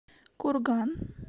курган